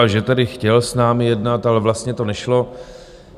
A že tady chtěl s námi jednat, ale vlastně to nešlo.